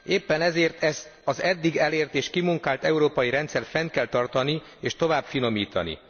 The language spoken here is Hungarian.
Éppen ezért ezt az eddig elért és kimunkált európai rendszert fenn kell tartani, és tovább finomítani.